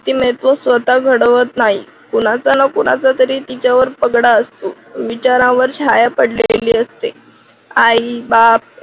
व्यक्तिमत्व स्वतः घडवत नाही. कुणाचा ना कुणाचा तिच्यावर पगडा असतो. विचारावर छाया पडलेली असते. आई बाप